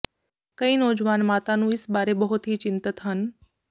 ਕਈ ਨੌਜਵਾਨ ਮਾਤਾ ਨੂੰ ਇਸ ਬਾਰੇ ਬਹੁਤ ਹੀ ਚਿੰਤਤ ਹਨ